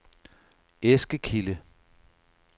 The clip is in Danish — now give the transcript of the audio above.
Eskekilde